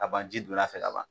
Ka ban ji donn'a fɛ ka ban.